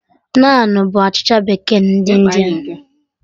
Naanụ bụ achịcha bekee ndị India